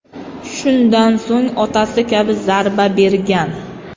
Shundan so‘ng otasi kabi zarba bergan.